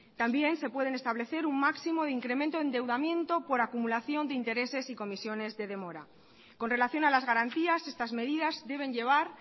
también se pueden establecer un máximo de incremento de endeudamiento por acumulación de intereses y comisiones de demora con relación a las garantías estas medidas deben llevar